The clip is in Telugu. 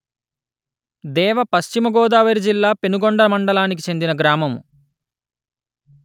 దేవ పశ్చిమ గోదావరి జిల్లా పెనుగొండ మండలానికి చెందిన గ్రామము